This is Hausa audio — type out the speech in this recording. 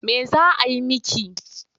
Me za a yi miki?